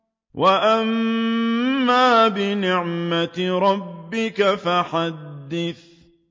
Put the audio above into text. وَأَمَّا بِنِعْمَةِ رَبِّكَ فَحَدِّثْ